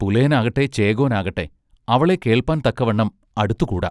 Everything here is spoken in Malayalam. പുലയനാകട്ടെ ചോകോനാകട്ടെ അവളെ കേൾപ്പാൻ തക്കവണ്ണം അടുത്തു കൂടാ.